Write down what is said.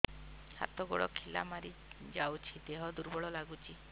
ହାତ ଗୋଡ ଖିଲା ମାରିଯାଉଛି ଦେହ ଦୁର୍ବଳ ଲାଗୁଚି